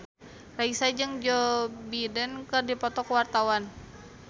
Raisa jeung Joe Biden keur dipoto ku wartawan